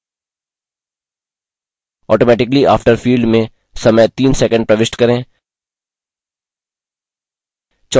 automatically after field में समय 3 second प्रविष्ट करें